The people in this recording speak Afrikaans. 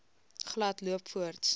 glad loop voorts